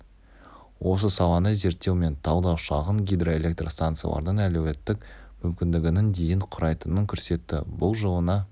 осы саланы зерттеу мен талдау шағын гидроэлектрстанциялардың әлеуеттік мүмкіндігінің дейін құрайтынын көрсетті бұл жылына